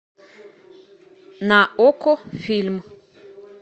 на окко фильм